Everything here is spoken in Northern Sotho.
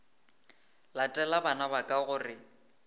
latele bana ba ka gore